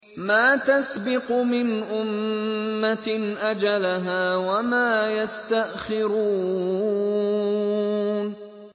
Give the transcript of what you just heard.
مَا تَسْبِقُ مِنْ أُمَّةٍ أَجَلَهَا وَمَا يَسْتَأْخِرُونَ